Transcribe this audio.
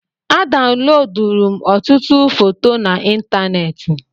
A dawuloduru m ọtụtụ foto na ịntanetị